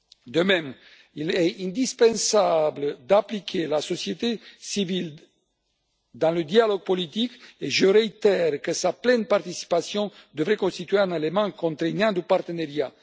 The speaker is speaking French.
De même, il est indispensable d'impliquer la société civile dans le dialogue politique et je réitère que sa pleine participation devrait constituer un élément contraignant du partenariat.